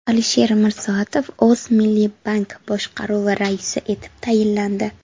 Alisher Mirsoatov O‘zmilliybank boshqaruvi raisi etib tayinlandi.